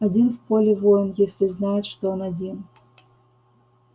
один в поле воин если знает что он один